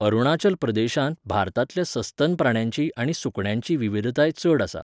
अरुणाचल प्रदेशांत भारतांतल्या सस्तन प्राण्यांची आनी सुकण्यांची विविधताय चड आसा.